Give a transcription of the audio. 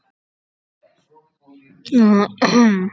Og á meðan gat fyrirtæki mitt verið komið í rúst.